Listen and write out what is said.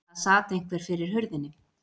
Það sat einhver fyrir hurðinni.